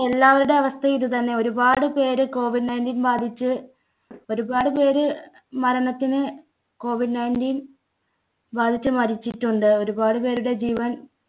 എല്ലാവര്ടെ‍ അവസ്ഥയും ഇതുതന്നെ. ഒരുപാട് പേര് COVID nineteen ബാധിച്ച് ഒരുപാട് പേര് മരണത്തിന് COVID nineteen ബാധിച്ചു മരിച്ചിട്ടുണ്ട്. ഒരുപാട് പേരുടെ ജീവൻ